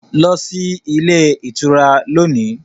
Go to the hotel today